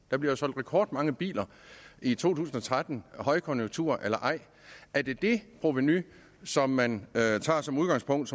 der blev jo solgt rekordmange biler i to tusind og tretten højkonjunktur eller ej er det det provenu som man tager som udgangspunkt